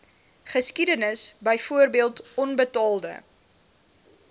geskiedenis byvoorbeeld onbetaalde